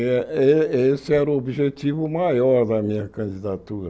Eh esse sse era o objetivo maior da minha candidatura.